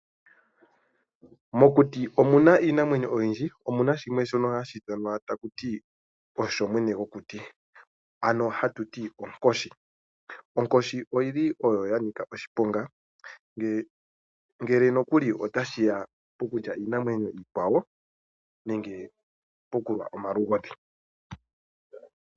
Mokuti omu na iinamwenyo oyindji, omu na shimwe shono hashi ithanwa taku ti osho mwene gokuti ano hatu ti onkoshi. Onkoshi oyili ya nika oshiponga ngele nokuli otashi ya pokulya iinamwenyo iikwawo, nenge pokulwa omalugodhi.